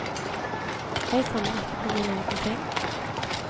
Jeg samler ikke på mine egne ting.